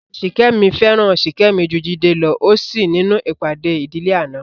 Bàbá Sìkẹ́mi fẹ́ràn Ṣìkẹ́mi ju Jídé lọ ó sì nínú ìpàdé ìdíléàná